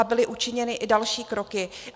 A byly učiněny i další kroky.